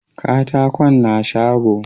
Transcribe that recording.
katakon na shago